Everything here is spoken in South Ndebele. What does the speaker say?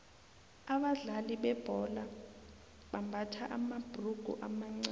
abadlali bebhola bambatha amabhurugu amancani